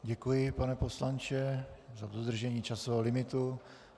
Děkuji, pane poslanče, za dodržení časového limitu.